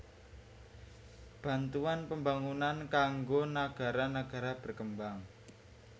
Bantuan Pembangunan kanggo nagara nagara berkembang